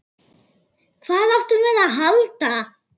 Hvað áttum við að halda?